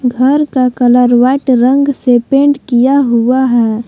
घर का colour white रंग से पेंट किया हुआ है।